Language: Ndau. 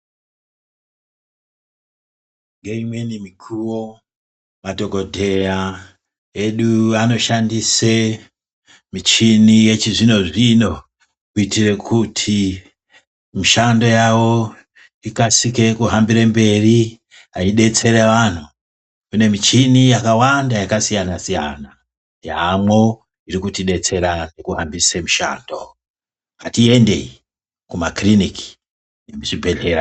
Ngeumweni mukuwo madhokotera edu anoshandisa muchini yechizvino zvino kuitira kuti mushando yavo ikasike kuhambire mberi yeidetsera vantu. Kune michini yakawanda yakasiyana siyana yamwo iri kutidetsera kuhambise mushando. Ngatiendei mumakiriniki nekuzvibhedhlera .